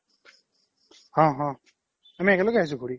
অ অ আমি একেলগে আহিছো ঘৰি